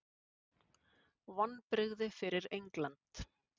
Vonbrigði fyrir England.